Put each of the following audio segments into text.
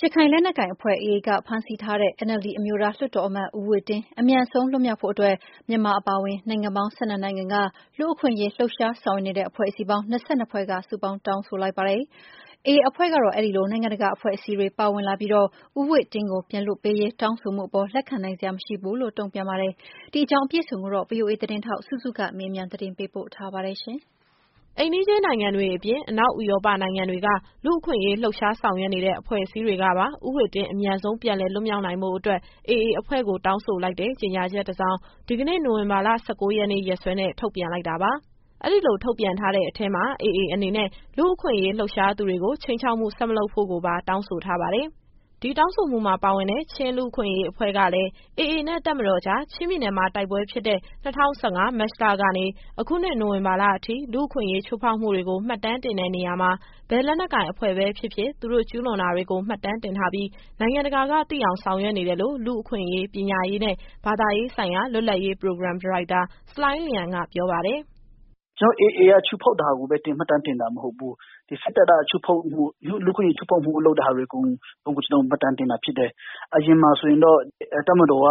ရခိုင်လက်နက်ကိုင်အဖွဲ့ AA က ဖမ်းဆီးထားတဲ့ ဦးဝှေ့တင်းအမြန်ဆုံး လွှတ်မြောက်ဖို့အတွက် မြန်မာအပါအဝင် နိုင်ငံပေါင်း ၁၂နိုင်ငံက လူ့အခွင့်အရေးလှုပ်ရှား ဆောင်ရွက်နေတဲ့ အဖွဲ့အစည်းပေါင်း ၂၂ဖွဲ့က တောင်းဆိုလိုက်ပါတယ်။ AA အဖွဲ့ကတော့ အဲဒီလို နိုင်ငံတကာ အဖွဲ့အစည်းတွေ ပါဝင်လာပြီး ဦးဝှေ့တင်းကို ပြန်လွှတ်ပေးရေး တောင်းဆိုမှုအပေါ် လက်ခံနိုင်စရာမရှိဘူးလို့ တုံ့ပြန်ပါတယ်။ ဒီအကြောင်း အပြည့်အစုံကို ဗွီအိုအေသတင်းထောက် စုစုကမေးမြန်း ပေးပို့ထားပါတယ်။ အိမ်နီးချင်းနိုင်ငံတွေအပြင် အနောက်ဥရောပနိုင်ငံတွေက လူ့အခွင့်အရေးလှုပ်ရှား ဆောင်ရွက်နေတဲ့ အဖွဲ့အစည်းတွေကပါ ဦးဝှေ့တင်း အမြန်ဆုံး ပြန်လည်လွတ်မြောက်နိုင်ဖို့အတွက် AA အဖွဲ့ကို တောင်းဆိုလိုက်တဲ့ ကြေညာချက်တစောင် ဒီကနေ့ နိုဝင်ဘာ ၁၉ရက်နေ့ ရက်စွဲနဲ့ ထုတ်ပြန်လိုက်တာပါ။ အဲဒီလို ထုတ်ပြန်ထားတဲ့အထဲမှာ AA အနေနဲ့ လူ့အခွင့်အရေး လှုပ်ရှားသူတွေကို ခြိမ်းခြောက်မှု ဆက်မလုပ်ဖို့ကိုပါ တောင်းဆိုထားပါတယ်။ ဒီတောင်းဆိုမှုမှာ ပါဝင်တဲ့ ချင်းလူ့အခွင့်အရေးအဖွဲ့ကလည်း AA နဲ့ တပ်မတော်ကြား ချင်းပြည်နယ်မှာ တိုက်ပွဲဖြစ်တဲ့ ၂၀၁၅၊ မတ်လကနေ အခုနှစ် နိုဝင်ဘာလအထိ လူ့အခွင့်အရေး ချိုးဖောက်မှုတွေကို မှတ်တမ်းတင်တဲ့နေရာမှာ ဘယ်လက်နက်ကိုင် အဖွဲ့ပဲဖြစ်ဖြစ်၊ သူတို့ကျူးလွန်တာတွေကို မှတ်တမ်းတင်ထားပြီး နိုင်ငံတကာကသိအောင် ဆောင်ရွက်နေတယ်လို့ လူ့အခွင့်အရေး ပညာရေးနဲ့ ဘာသာရေးဆိုင်ရာ လွတ်လပ်ရေးပရိုဂရမ် ဒါရိုက်တာ ဆလိုင်းလျန်က ပြောပါတယ်။ “ကျတော်တို့က AA ကချိုးဖောက်တာကိုပဲ မှတ်တမ်းတင်တာ မဟုတ်ဘူး။ ဒီစစ်တပ်က ချိုးဖောက်မှု။ လူ့အခွင့်အရေးချိုးဖောက်မှုတွေ လုပ်တဲ့ဟာအကုန် ကျတော်တို့မှတ်တမ်းတင်တာ ဖြစ်တယ်။ အရင်တုန်းကတော့ တပ်မတော်က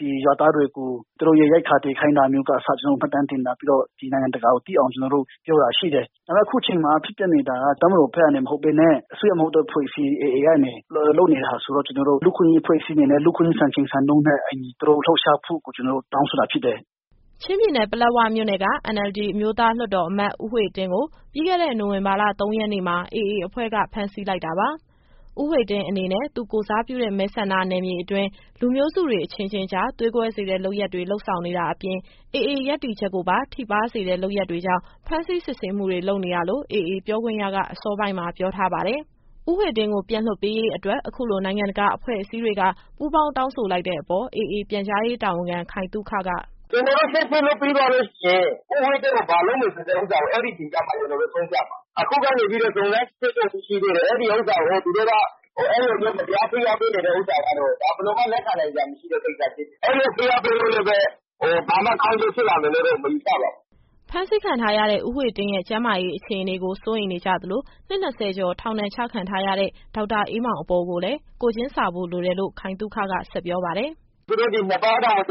ဒီရွာသားတွေကို သူတို့ရဲ့ရိတ်ခါ သယ်ခိုင်းတာကအစ ကျတော်တို့ မှတ်တမ်းတင်ထားပြီးတော့ ဒီနိုင်ငံတကာကိုသိအောင် ကျတော်တို့ပြောတာရှိတယ်။ ဒါပေမယ့် အခုချိန်ခါမှာ ဖြစ်ပျက်နေတာက တပ်မတော်ဘက်ကနေ မဟုတ်ဘဲနဲ့ အစိုးရမဟုတ်သော အဖွဲ့အစည်း AA ကနေ လုပ်နေတာဆိုတော့ ကျတော်တို့ လူ့အခွင့်အရေးအဖွဲ့အစည်းအနေနဲ့ လူ့အခွင့်အရေးစံချိန်စံညွှန်းနဲ့ အညီ သူတို့လှုပ်ရှားမှုကို ကျတော်တို့တောင်းဆိုတာဖြစ်တယ်။” ချင်းပြည်နယ်၊ ပလက်ဝမြို့နယ်က NLD အမျိုးသားလွှတ်တော်အမတ် ဦးဝှေ့တင်းကို ပြီးခဲ့တဲ့ နိုဝင်ဘာလ ၃ရက်နေ့မှာ AA အဖွဲ့က ဖမ်းဆီးလိုက်တာပါ။ ဦးဝှေ့တင်းအနေနဲ့ သူကိုယ်စားပြုတဲ့ မဲဆန္ဒနယ်မြေအတွင်း လူမျိုးစုတွေ အချင်းချင်းကြား သွေးကွဲစေတဲ့ လုပ်ရပ်တွေ လုပ်ဆောင်နေတာအပြင် AA ရပ်တည်ချက်ကိုပါ ထိပါးစေတဲ့ လုပ်ရပ်တွေကြောင့် ဖမ်းဆီးစစ်ဆေးမှုတွေ လုပ်နေတာလို့ AA ပြောခွင့်ရက အစောပိုင်းမှာ ပြောထားပါတယ်။ ဦးဝှေ့တင်းကို ပြန်လွှတ်ပေးရေးအတွက် အခုလို နိုင်ငံတကာအဖွဲ့အစည်းတွေက ပူပေါင်းတောင်းဆိုလိုက်တဲ့ အပေါ် AA ပြန်ကြားရေးတာဝန်ခံ ခိုင်သုခက “ကျတော်တို့စစ်ဆေးလို့ ပြီးသွားလို့ရှိရင် ဦးဝှေ့တင်းကို ဘာလုပ်မယ်ဆိုတဲ့ ဥစ္စာကို အဲဒီအချိန်ကျမှ ကျတော်တို့ရှင်းပြမှာ။ အခုက စုံစမ်းစစ်ဆေးနေတုန်း ရှိသေးတယ်။ အဲဒီဥစ္စာကို သူတို့က အဲလိုမျိုး မတရားဖိအားပေးနေတဲ့ဥစ္စာကတော့ ဒါဘယ်လိုမှ လက်ခံနိုင်စရာ မရှိတဲ့ကိစ္စဖြစ်တယ်။ အဲလိုဖိအားပေးလို့လည်းပဲ ဘာမှကောင်းကျိုးဖြစ်လာမယ်လို့တော့ မယူဆပါဘူး။” ဖမ်းဆီးခံထားရတဲ့ ဦးဝှေ့တင်းရဲ့ ကျန်းမာရေးအခြေအနေကို စိုးရိမ်နေကြသလို၊ နှစ် ၂၀ကျော် ထောင်ဒဏ်ချခံထားရတဲ့ ဒေါက်တာအေးမောင်အပေါ်ကိုလည်း ကိုယ်ချင်းစာဖို့လိုတယ်လို့ ခိုင်သုခက ဆက်ပြောပါတယ်။ “သူတို့တောင် ၂ပတ်မကြာသေး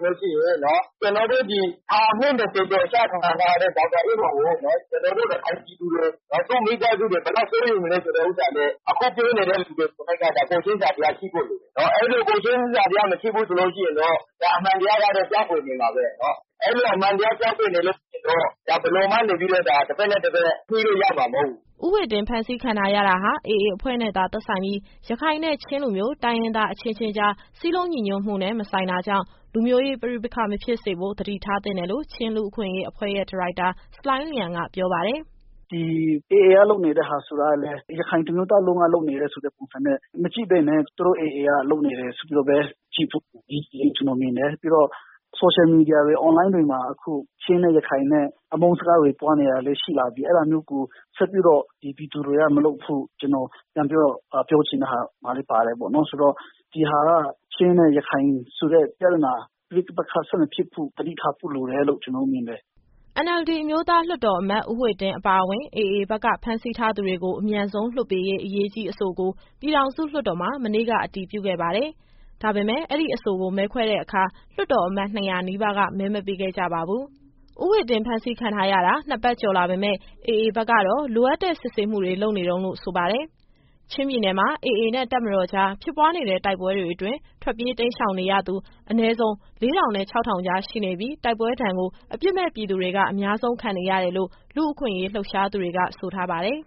တဲ့အချိန်မှာ ဒီလောက်တောင်စိုးရိမ်နေလို့ရှိရင် ကျတော်တို့ ဒီထောင်အနှစ် ၂၀ ကျော်ကျခံထားရတဲ့ ဒေါက်တာအေးမောင်ကို ကျတော်တို့ ရခိုင်ပြည်သူတွေ၊ သူ့မိသားစုတွေ ဘယ်လောက်စိုးရိမ်နေမလဲ ဆိုတဲ့ဥစ္စာလည်း အခုပြောနေတဲ့လူတွေ ကိုယ်၌က ကိုယ်ချင်းစာတရားရှိဖို့ လိုတယ်။ အဲဒီလို ကိုယ်ချင်းစာတရား မရှိဘူးဆိုလို့ရှိရင်တော့ ဒါအမှန်တရားကတော့ ပျောက်ကွယ်နေမှာပဲ။ အဲလိုအမှန်တရား ပျောက်ကွယ်နေလို့ရှိရင်တော့ ဘယ်လိုမှ တဘက်နဲ့တဘက် ညှိလို့ရမှာ မဟုတ်ဘူး။” ဦးဝှေ့တင်း ဖမ်းဆီးခံထားရတာဟာ AA အဖွဲ့နဲ့သာ သက်ဆိုင်ပြီး၊ ရခိုင်နဲ့ ချင်းလူမျိုး တိုင်းရင်းသားအချင်းချင်းကြား စည်းလုံးညီညွတ်မှုနဲ့ မဆိုင်တာကြောင့် လူမျိုးရေးပဋိပက္ခ မဖြစ်စေဖို့ သတိထားသင့်တယ်လို့ ချင်းလူ့အခွင့်အရေးအဖွဲ့ရဲ့ ဒါရိုက်တာ ဆလိုင်းလျန်က ပြောပါတယ်။ “ဒီ AA က လုပ်နေတဲ့ဟာဆိုတာကလည်း ရခိုင်တမျိုးသားလုံးက လုပ်နေတဲ့ဆိုတဲ့ပုံစံနဲ့ မကြည့်ဘဲနဲ့ သူတို့ AA က လုပ်နေတယ်ဆိုပြီးတော့ပဲ ကြည့်ဖို့အရေးကြီးတယ်လို့ ကျတော်မြင်တယ်။ ပြီးတော့ Social Media တွေ Online တွေမှာ အခု ချင်းနဲ့ရခိုင်နဲ့ အမုန်းစကားတွေ ပွားနေတာတွေလည်း ရှိလာပြီ။ အဲဒါမျိုးကို ဆက်ပြီးတော့ ဒီပြည်သူတွေကမလုပ်ဖို့ ကျတော်ပြန်ပြီးတော့ ပြောချင်တဲ့ဟာမှာလည်း ပါတယ်ပေါ့နော်။ ဆိုတော့ ဒီဟာက ချင်းနဲ့ ရခိုင်ဆိုတဲ့ ပြဿနာ ပဋိပက္ခဆက်မဖြစ်ဖို့ သတိထားဖို့လိုတယ်လို့ ကျတော်တို့မြင်တယ်။” NLD အမျိုးသားလွှတ်တော်အမတ် ဦးဝှေ့တင်းအပါအဝင် AA ဘက်က ဖမ်းဆီးထားသူတွေ အမြန်ဆုံးလွှတ်ပေးရေး အရေးကြီးအဆိုကို ပြည်ထောင်စုလွှတ်တော်မှာ မနေ့က အတည်ပြုခဲ့ပါတယ်။ ဒါပေမယ့် အဲဒီအဆိုကို မဲခွဲတဲ့အခါ လွှတ်တော်အမတ် ၂၀၀ နီးပါးက မဲမပေးခဲ့ကြပါဘူး။ ဦးဝှေ့တင်းဖမ်းဆီးခံထားရတာ ၂ပတ်ကျော်လာပေမယ့်၊ AA ဘက်ကတော့ လိုအပ်တဲ့စစ်ဆေးမှုတွေ လုပ်နေတုန်းလို့ ဆိုပါတယ်။ ချင်းပြည်နယ်မှာ AA နဲ့ တပ်မတော်ကြား ဖြစ်ပွားနေတဲ့ တိုက်ပွဲတွေအတွင်း ထွက်ပြေးတိမ်းရှောင်နေရသူ အနည်းဆုံး ၄၀၀၀ နဲ့ ၆၀၀၀ ကြား ရှိနေပြီး၊ တိုက်ပွဲဒဏ်ကို အပြစ်မဲ့ပြည်သူတွေက အများဆုံးခံနေရတယ်လို့ လူ့အခွင့်အရေး လှုပ်ရှားနေသူတွေက ဆိုထားပါတယ်။